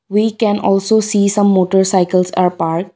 we can also see some motorcycles are parked.